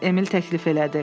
Emil təklif elədi.